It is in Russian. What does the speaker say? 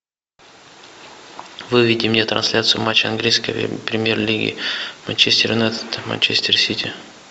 выведи мне трансляцию матча английской премьер лиги манчестер юнайтед манчестер сити